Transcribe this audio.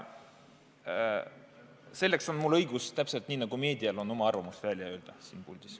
Selleks on mul õigus siin puldis, täpselt nii, nagu meedial on õigus oma arvamus välja öelda.